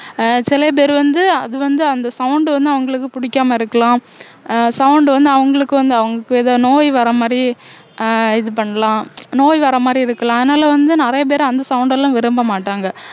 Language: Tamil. அஹ் சில பேர் வந்து அது வந்து அந்த sound வந்து அவங்களுக்கு பிடிக்காம இருக்கலாம் அஹ் sound வந்து அவங்களுக்கு வந்து அவங்களுக்கு ஏதோ நோய் வர மாதிரி அஹ் இது பண்ணலாம் நோய் வர மாதிரி இருக்கலாம் அதனால வந்து நிறைய பேர் அந்த sound எல்லாம் விரும்ப மாட்டாங்க